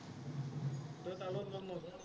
তই তাৰ লগত লগ নধৰ নেকি?